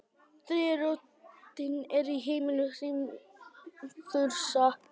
þriðja rótin er í heimi hrímþursa